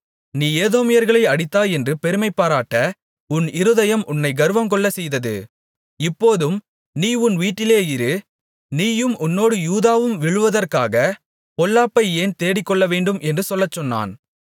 நீ ஏதோமியர்களை அடித்தாய் என்று பெருமைபாராட்ட உன் இருதயம் உன்னைக் கர்வங்கொள்ளச் செய்தது இப்போதும் நீ உன் வீட்டிலே இரு நீயும் உன்னோடு யூதாவும் விழுவதற்காக பொல்லாப்பை ஏன் தேடிக்கொள்ளவேண்டும் என்று சொல்லச் சொன்னான்